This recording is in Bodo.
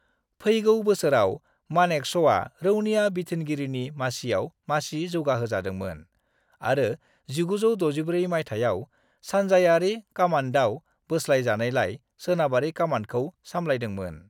फैगौ बोसोराव, मानेकश'आ रौनिया बिथोनगिरिनि मासियाव मासि जौगाहोजादोंमोन आरो 1964 मायथाइयाव सानजायारि कामान्दआव बोस्लायजानायलाय, सोनाबारि कामान्दखौ सामलायदोंमोन।